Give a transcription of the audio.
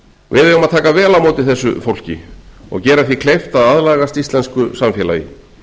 við eigum að taka vel á móti þessu fólki og gera því kleift að aðlagast íslensku samfélagi